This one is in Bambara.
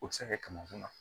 O bɛ se ka kɛ kɛmɛkunan